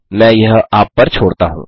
मैं यह आप पर छोड़ता हूँ